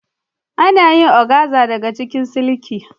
Akan yi oganza daga siliki.